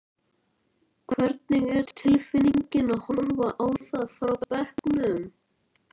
Hvernig var tilfinningin að horfa á það frá bekknum?